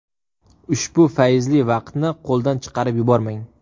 Ushbu fayzli vaqtni qo‘ldan chiqarib yubormang!